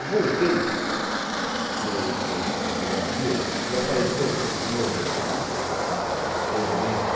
Eu voltei para o para o para o Brasil e apareceu de novo o o o presidente.